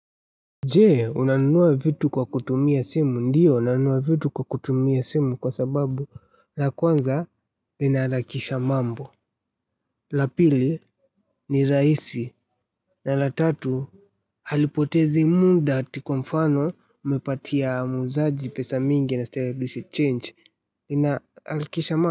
Jee unanunua vitu kwa kutumia simu ndiyo nanunua vitu kwa kutumia simu kwa sababu la kwanza linaharakisha mambo la pili ni rahisi na la tatu halipotezi muda ati kwa mfano umepatia muuzaji pesa mingi anastahili arudishe change lina harakisha mambo.